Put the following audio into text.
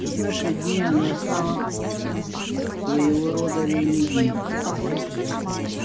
в наши дни она стала своего рода религией